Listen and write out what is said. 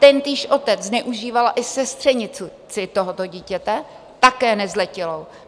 Tentýž otec zneužíval i sestřenici tohoto dítěte, také nezletilou.